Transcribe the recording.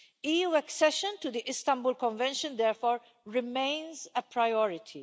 EU accession to the Istanbul Convention therefore remains a priority.